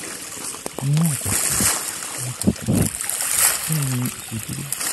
Ni akọkọ, Ni akọkọ, kini iṣeduro?